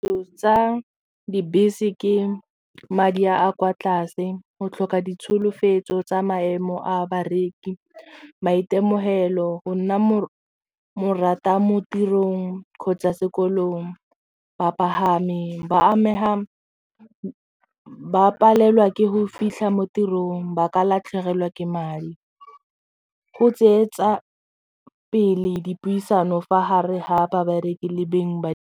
Tsa dibese ke madi a kwa tlase go tlhoka ditsholofetso tsa maemo a bareki, maitemogelo go nna mo rata mo tirong kgotsa sekolong bapagami ba amega ba palelwa ke go fitlha mo tirong ba ka latlhegelwa ke madi go tseetsa pele dipuisano fa gare ga babereki le beng ba.